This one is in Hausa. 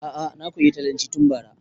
A'a na koya italyanci tun bara